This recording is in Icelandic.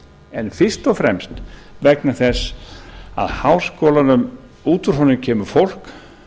en fyrst og fremst vegna þess að út úr háskólanum kemur fólk